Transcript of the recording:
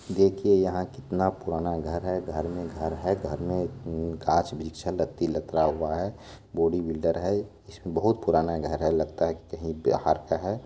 देखिये यहां कितना पुराना घर है घर मे घर है घर में गाछ वृक्ष है लत्ती लतरा हुआ है बॉडी बिल्डर है इसमे बहुत पुराना घर है लगता है की कही बिहार का है।